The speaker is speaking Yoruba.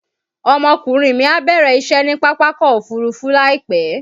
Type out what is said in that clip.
Ọmọkùnrin mi á bẹ̀rẹ̀ isẹ́ ní Pápákọ̀ Òfurufú láìpẹ́